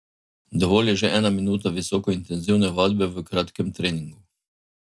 Dovolj je že ena minuta visoko intenzivne vadbe v kratkem treningu.